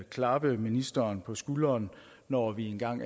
klappe ministeren på skulderen når vi engang